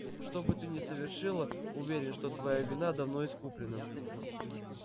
что бы ты ни совершила уверен что твоя вина давно искуплена